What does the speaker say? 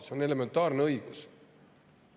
See on elementaarne õigus.